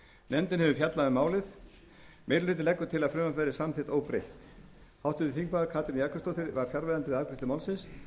nefndin hefur fjallað um málið og leggur meiri hlutinn til að frumvarpið verði samþykkt óbreytt háttvirtur þingmaður katrín jakobsdóttir var fjarverandi við afgreiðslu málsins